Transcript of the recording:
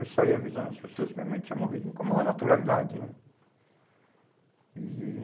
Eu saí avisando as pessoas que minha mãe tinha morrido, com a maior naturalidade, né? E